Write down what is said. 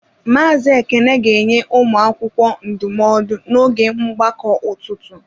Mazị Ekene ga-enye ụmụ akwụkwọ ndụmọdụ n'oge mgbakọ ụtụtụ.